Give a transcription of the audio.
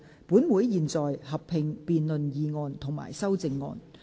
本會現在合併辯論議案及修正案。